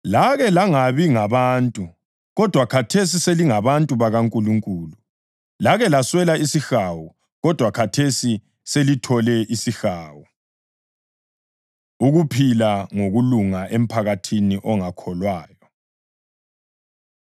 Lake langabi ngabantu, kodwa khathesi selingabantu bakaNkulunkulu; lake laswela isihawu; kodwa khathesi selithole isihawu. Ukuphila Ngokulunga Emphakathini Ongakholwayo